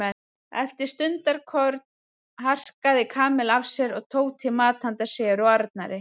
Eftir stundarkorn harkaði Kamilla af sér og tók til mat handa sér og Arnari.